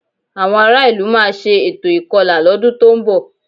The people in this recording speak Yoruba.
Àwọn ará ìlú máa ṣe ètò ìkọlà lọ́dún tó ń bọ̀